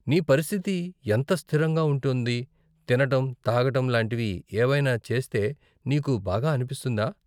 నీ పరిస్థితి ఎంత స్థిరంగా ఉంటోంది, తినటం, తాగటం లాంటివి ఏవైనా చేస్తే నీకు బాగా అనిపిస్తుందా?